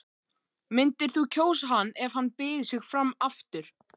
Myndir þú kjósa hann ef hann byði sig fram aftur?